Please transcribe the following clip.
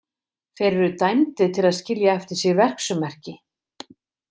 Þeir eru dæmdir til að skilja eftir sig verksummerki.